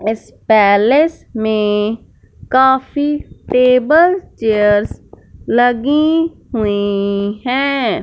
इस पैलेस में काफी टेबल चेयर्स लगी हुई हैं।